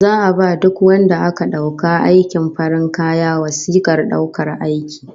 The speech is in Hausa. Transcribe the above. Za'a ba duk wadanda aka dauka aikin farin kaya wasikar daukar aiki